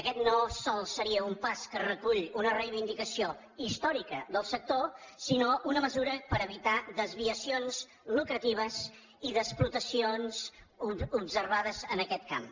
aquest no sols seria un pas que recull una reivindicació històrica del sector sinó una mesura per evitar desviacions lucratives i desproteccions observades en aquest camp